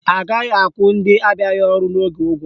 Agaghị akwụ ndị abịaghị ọrụ n'oge ụgwọ